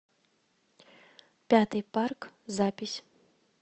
пятый парк запись